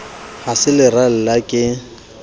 ha se leralla a ke